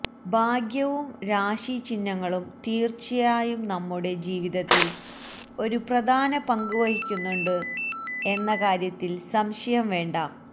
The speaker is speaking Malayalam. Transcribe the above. ഭാഗ്യവും രാശിചിഹ്നങ്ങളും തീര്ച്ചയായും നമ്മുടെ ജീവിതത്തില് ഒരു പ്രധാന പങ്ക് വഹിക്കുന്നുണ്ട് എന്ന കാര്യത്തില് സംശയം വേണ്ട